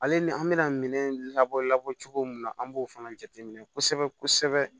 Ale ni an bɛna minɛn labɔ labɔ cogo min na an b'o fana jateminɛ kosɛbɛ kosɛbɛ